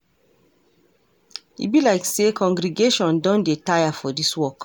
E be like say congregation don dey tire for this work.